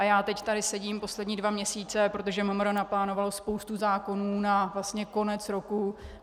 A já teď tady sedím poslední dva měsíce, protože MMR naplánovalo spoustu zákonů na konec roku.